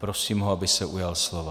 Prosím ho, aby se ujal slova.